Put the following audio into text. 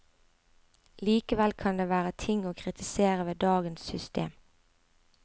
Likevel kan det være ting å kritisere ved dagens system.